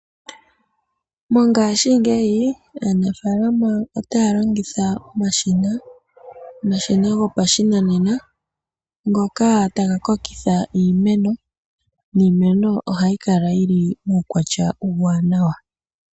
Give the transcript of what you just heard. Mongaashi ngeyi aanafalama otaya longitha omashina. Omashina gopashinanena ngoka taga kokitha iimeno niimeno ohayi kala yili mukwatya uuwanawa.